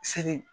Seli